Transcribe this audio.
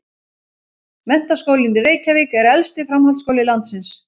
Menntaskólinn í Reykjavík er elsti framhaldsskóli landsins.